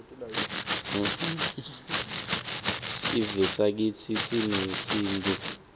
sivesakitsi sinesintfu